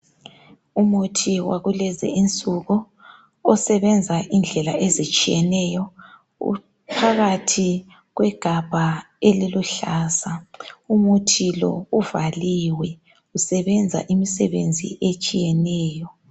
Umuthi wakulezi nsuku osebenza indlela ezitshiyeneyo uphakathi kwegabha eliluhlaza umuthi lo uvaliwe usebenza imisebenzi etshiyeneyo.